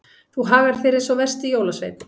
Þú hagar þér eins og versti jólasveinn.